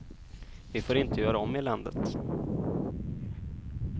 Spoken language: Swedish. Vi får inte göra om eländet.